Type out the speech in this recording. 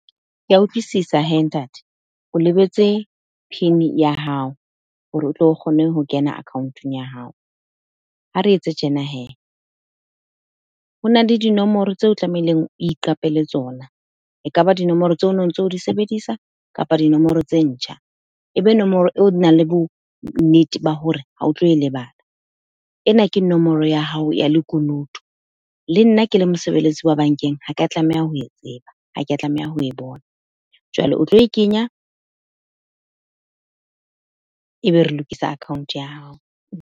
Ke a utlwisisa he ntate. O lebetse pin ya hao, hore o tlo kgone ho kena account-ong ya hao. Ha re etse tjena he, ho na le dinomoro tseo o tlamehileng o iqapele tsona. Ekaba dinomoro tseo o no ntso di sebedisa, kapa dinomoro tse ntjha. Ebe nomoro eo o nang le bo nnete ba hore ha o tlo e lebala. Ena ke nomoro ya hao ya lekunutu. Le nna ke le mosebeletsi wa bank-eng, ha ke tlameha ho e tseba. Ha ke tlameha ho bona. Jwale o tlo e kenya, ebe re lokise account ya hao.